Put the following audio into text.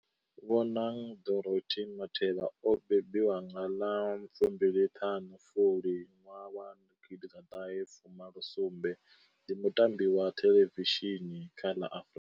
Bonang Dorothy Matheba o mbembiwa nga ḽa fu mbili ṱhanu Fulwi nwaha wa gidi ḓa ṱahe fu malo sumbe ndi muambi wa thelevishini kha la Afrika.